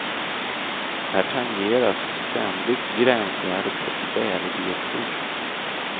Här tangeras ständigt gränsvärdet för kvävedioxid.